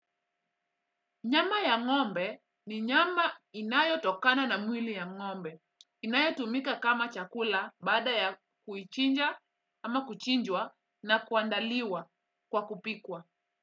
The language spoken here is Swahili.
Nyama ya ng'ombe. Ni nyama, inayotokana na mwili ya ng'ombe. Inayotumika kama chakula baada ya, kuichinja, ama kuchinjwa na kuandaliwa. Kwa kupikwa.